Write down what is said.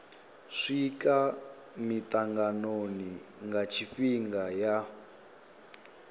swika mitanganoni nga tshifhinga ya